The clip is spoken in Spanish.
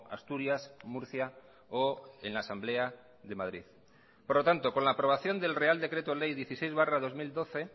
asturias murcia o en la asamblea de madrid por lo tanto con la aprobación del real decreto ley dieciséis barra dos mil doce